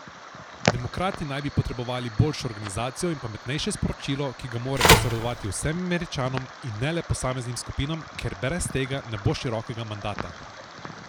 Demokrati naj bi potrebovali boljšo organizacijo in pametnejše sporočilo, ki ga morajo posredovati vsem Američanom in ne le posameznim skupinam, ker brez tega ne bo širokega mandata.